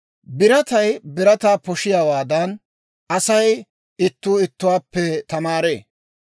Biratay birataa poshiyaawaadan, Asay ittuu ittuwaappe tamaaree.